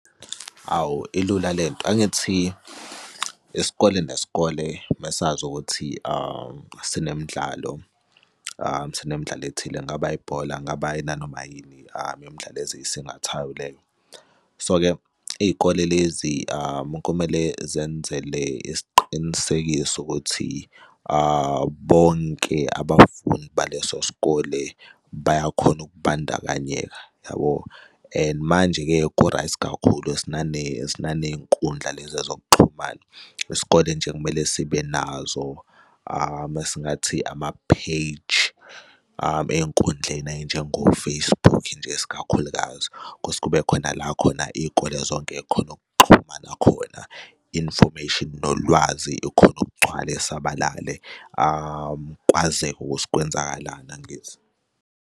Hawu, ilula le nto angithi isikole nesikole mesazi ukuthi sinemdlalo, sinemdlalo ethile, kungaba ibhola, kungaba nanoma yini imidlalo eziyisithathayo leyo. So-ke iy'kole lezi kumele zenzele isiqinisekiso ukuthi bonke abafundi baleso sikole bayakhona ukubandakanyeka, yabo? And manje-ke ku-right kakhulu sinaney'nkundla lezi zokuxhumana. Isikole nje kumele sibe nazo, mesingathi amapheyiji ey'nkundleni ey'njengo-Facebook nje esikakhulukazi kuthi kube khona la khona iy'kole zonke y'khone ukuxhuma nakhona, information nolwazi likhone ukgcwala isabalale kwazeki ukuthi kwenzakalani, angithi?